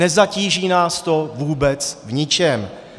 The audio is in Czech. Nezatíží nás to vůbec v ničem.